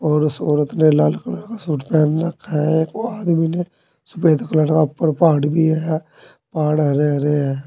और उस औरत ने लाल कलर का सूट पहन रखा है और आदमी ने सफ़ेद कलर का उप्पर पहाड़ भी है। पहाड़ हरे हरे हैं।